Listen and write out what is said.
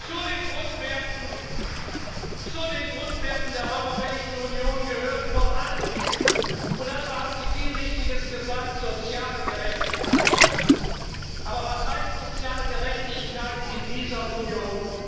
Zu den Grundwerten der Europäischen Union gehört vor allen Dingen und dazu haben Sie viel Richtiges gesagt soziale Gerechtigkeit. Aber was heißt soziale Gerechtigkeit in dieser Union?